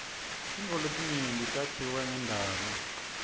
tintfo letinyenti takhiwe ngendalo